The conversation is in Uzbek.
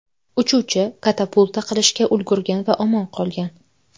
Uchuvchi katapulta qilishga ulgurgan va omon qolgan.